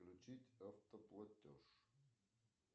включить автоплатеж